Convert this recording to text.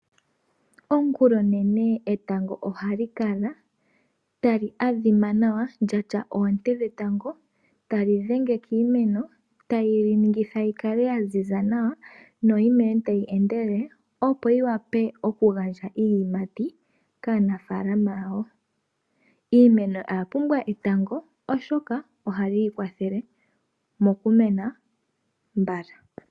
Ongula onene etango oha li kala tali adhima nawa lya sha oonte dhetango tadhi dhenge kiimeno, tali yi ningitha yi kale ya ziza nawa no yi mene tayi endelele, opo yi wape okugandja iiyimati kaanafalama yawo. Iimeno oya pumbwa etango oshoka ohali yi kwathele mo ku mena mbala.